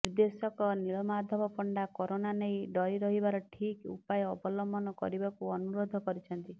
ନିର୍ଦ୍ଦେଶକ ନୀଳମାଧବ ପଣ୍ଡା କରୋନା ନେଇ ଡରି ରହିବାର ଠିକ୍ ଉପାୟ ଅବଲମ୍ବନ କରିବାକୁ ଅନୁରୋଧ କରିଛନ୍ତି